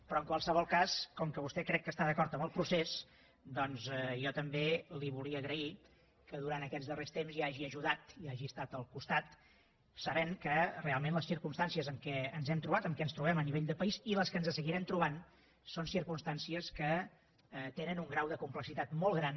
però en qualsevol cas com que vostè crec que està d’acord amb el procés jo també li volia agrair que durant aquests darrers temps hi hagi ajudat i hi hagi estat al costat sabent que realment les circumstàncies amb què ens hem trobat amb què ens trobem a nivell de país i les que ens seguirem trobant són circumstàncies que tenen un grau de complexitat molt gran